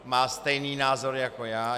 Má stejný názor jako já.